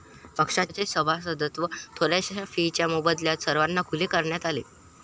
पक्षाचे सभासदत्व थोड्याशा फीच्या मोबदल्यात सर्वांना खुले करण्यात आले.